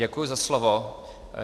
Děkuji za slovo.